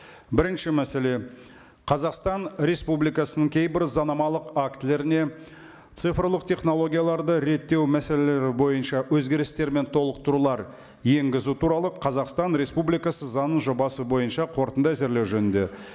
бірінші мәселе қазақстан республикасының кейбір заңнамалық актілеріне цифрлық технологияларды реттеу мәселелері бойынша өзгерістер мен толықтырулар енгізу туралы қазақстан республикасы заңының жобасы бойынша қорытынды әзірлеу жөнінде